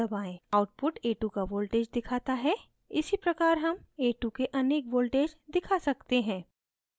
output a2 का voltage दिखाता है इसीप्रकार हम a2 के अनेक voltage दिखा सकते हैं